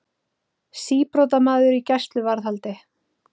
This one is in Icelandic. Síbrotamaður í gæsluvarðhaldi